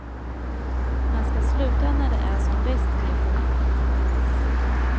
Man ska sluta när det är som bäst, heter det.